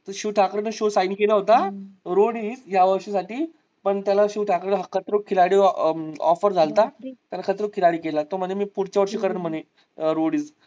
तो शिव ठाकरे ने show sign केला होता. roadies या वर्षीसाठी पण त्याला शिव ठाकरे खातरो के खिलाडी offer झाल्ता त्याने खातरो के खिलाडी केला तो म्हणे मी पुढच्या वर्षी कारेन म्हणे roadies